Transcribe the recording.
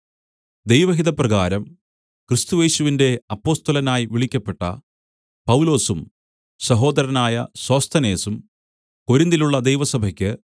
ദൈവഹിതപ്രകാരം ക്രിസ്തുയേശുവിന്റെ അപ്പൊസ്തലനായി വിളിക്കപ്പെട്ട പൗലൊസും സഹോദരനായ സോസ്ഥനേസും കൊരിന്തിലുള്ള ദൈവസഭയ്ക്ക്